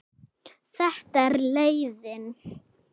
Þetta er leiðin.